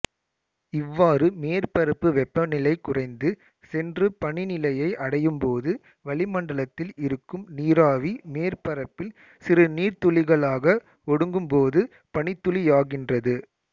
இவ்வாறு மேற்பரப்பு வெப்பநிலை குறைந்து சென்று பனிநிலையை அடையும்போது வளிமண்டலத்தில் இருக்கும் நீராவி மேற்பரப்பில் சிறு நீர்த்துளிகளாக ஒடுங்கும்போது பனித்துளியாகின்றது